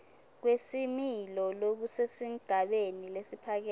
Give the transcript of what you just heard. kwesimilo lokusesigabeni lesiphakeme